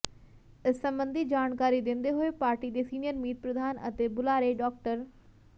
ਇਸ ਸਬੰਧੀ ਜਾਣਕਾਰੀ ਦਿੰਦੇ ਹੋਏ ਪਾਰਟੀ ਦੇ ਸੀਨੀਅਰ ਮੀਤ ਪ੍ਰਧਾਨ ਅਤੇ ਬੁਲਾਰੇ ਡਾ